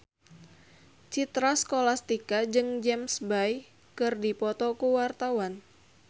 Citra Scholastika jeung James Bay keur dipoto ku wartawan